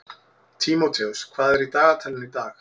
Tímóteus, hvað er í dagatalinu í dag?